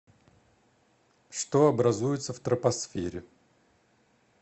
что образуется в тропосфере